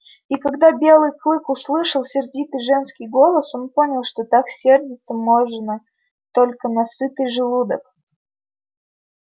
и когда белый клык услышал сердитый женский голос он понял что так сердиться можно только на сытый желудок